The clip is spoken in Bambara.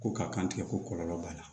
Ko ka kan tigɛ ko kɔlɔlɔ b'a la